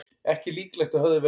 Ekki líklegt að höfðað verði mál